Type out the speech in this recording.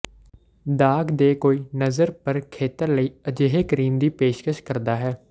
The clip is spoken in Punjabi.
ਦਾਗ ਦੇ ਕੋਈ ਨਜ਼ਰ ਭਰ ਖੇਤਰ ਲਈ ਅਜਿਹੇ ਕਰੀਮ ਦੀ ਪੇਸ਼ਕਸ਼ ਕਰਦਾ ਹੈ